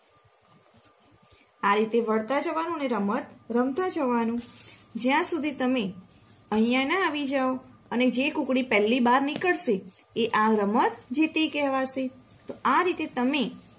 આ રીતે વળતાં જવાનું અને રમત રમતા જવાનું જ્યાં સુધી તમે અહિયાં ના આવી જાવ અને જે કૂકડી પેલી બાર નીકળશે એ આ રમત જીતી કહેવાશે.